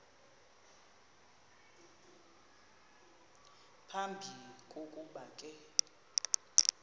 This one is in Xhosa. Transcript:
phambi kokuba ke